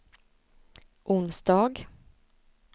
onsdag